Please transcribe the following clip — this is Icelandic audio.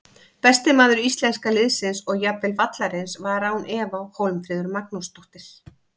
Besti maður íslenska liðsins og jafnvel vallarins var án efa Hólmfríður Magnúsdóttir.